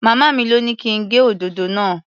Màmá mi lọ́ ní kí n gé òdòdó náà.